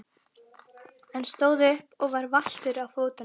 Hann stóð upp og var valtur á fótunum.